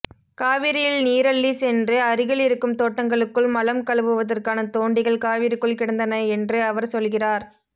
காவிரியில் நீரள்ளிச் சென்று அருகிலிருக்கும் தோட்டங்களுக்குள் மலம் கழுவுவதற்கான தோண்டிகள் காவிரிக்குள் கிடந்தன என்று அவர் சொல்கிறார்